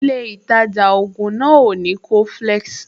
Ilé ìtajà ògùn náà ò ní coflex